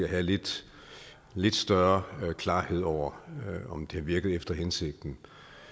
have lidt lidt større klarhed over om det har virket efter hensigten